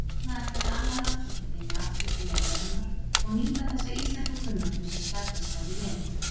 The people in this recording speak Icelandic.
Seinna ætlaði annað rannsóknarteymi aftur til jarðarinnar og nýta þessa íslenskukunnáttu sem skjalfest hafði verið.